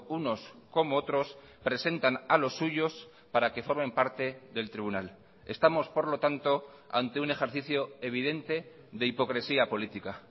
unos como otros presentan a los suyos para que formen parte del tribunal estamos por lo tanto ante un ejercicio evidente de hipocresía política